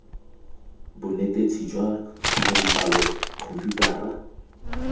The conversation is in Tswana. bonetetshi jwa tlhago dipalo khomputara